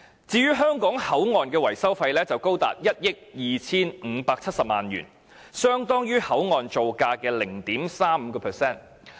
至於香港口岸的維修費則高達1億 2,570 萬元，相當於口岸造價的 0.35%。